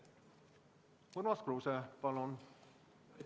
Urmas Kruuse, palun!